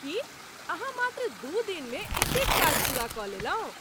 की अहाँ मात्र दू दिनमे एतेक काज पूरा कऽ लेलहुँ?